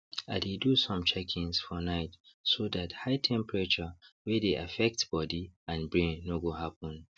i dey do some checkings for night so that high temperature wey dey affects body and brain no go happen